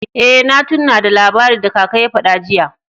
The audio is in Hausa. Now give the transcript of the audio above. Eh, na tunna da labari da kaka ya fada jiya.